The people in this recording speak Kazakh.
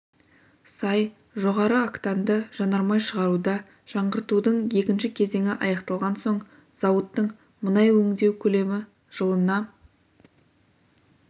сай жоғары октанды жанармай шығаруда жаңғыртудың екінші кезеңі аяқталған соң зауыттың мұнай өңдеу көлемі жылына